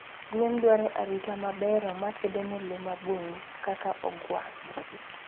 Gwen dwaro arita mabero makedo ne lee mabungu kaka ogwng'